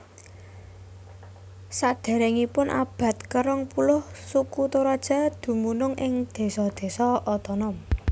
Sadéréngipun abad ke rong puluh suku Toraja dumunung ing désa désa otonom